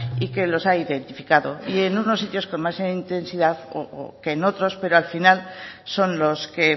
y que los ha identificado y en unos con más intensidad que en otros pero al final son los que